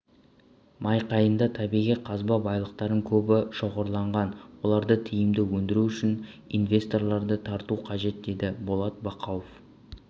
майқайыңда табиғи қазба байлықтардың көбі шоғырланған оларды тиімді өндіру үшін инвесторларды тарту қажет деді болат бақауов